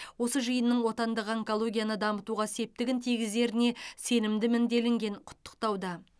осы жиынның отандық онкологияны дамытуға септігін тигізеріне сенімдімін делінген құттықтауда